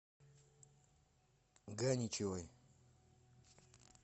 ганичевой